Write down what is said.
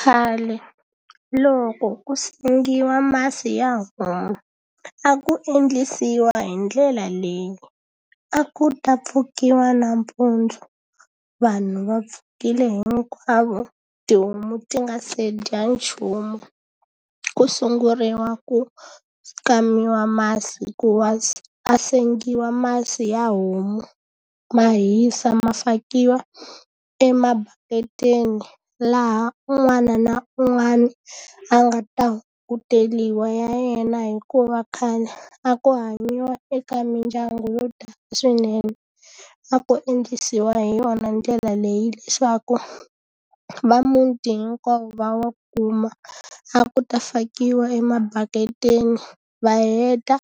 Khale loko ku sengiwa masi ya homu, a ku endlisiwa hi ndlela leyi. A ku ta pfukeriwa nampundzu, vanhu va pfukile hinkwavo, tihomu ti nga se dya nchumu, ku sunguriwa ku kamiwa masi hikuva a sengiwa masi ya homu ma hisa ma fakiwa emabaketini. Laha un'wana na un'wana a nga ta ku teriwa ya yena hikuva khale a ku hanyiwa eka mindyangu yo tala swinene. A ku endlisiwa hi yona ndlela leyi leswaku va muti hinkwavo va wa kuma, a ku ta fakiwa e mabaketi, va heta